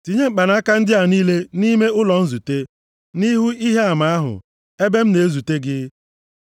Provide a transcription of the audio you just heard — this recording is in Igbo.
Tinye mkpanaka ndị a niile nʼime ụlọ nzute, nʼihu Ihe Ama ahụ, ebe m na-ezute gị.